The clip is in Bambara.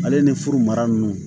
Ale ni furu mara nunnu